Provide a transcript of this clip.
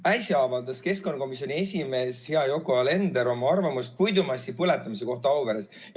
Äsja avaldas keskkonnakomisjoni esimees, hea Yoko Alender, oma arvamust puidumassi põletamise kohta Auveres.